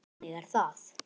Því að þannig er það!